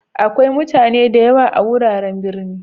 Akwai mutani da yawa a'wuraren birni.